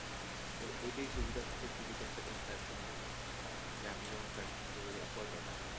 এটাই সুবিধা থাকে তুই যদি একটা কোনো platform থেকে করিস আমি যেমন platform থেকে করি dot com